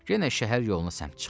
Yenə şəhər yoluna səmt çıxdı.